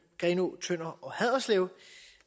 tønder og haderslev